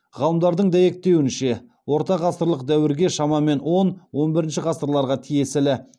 ғалымдардың дәйектеуінше ортағасырлық дәуірге шамамен он он бірінші ғасырларға тиесілі